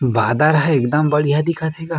बादर ह एकदम बढ़िया दिखत हे गा--